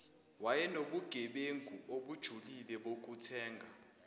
wayenobugebengu obujulile bokuthenga